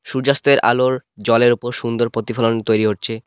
সূর্যাস্তের আলোর জলের ওপর সুন্দর পতিফলন তৈরি হচ্চে ।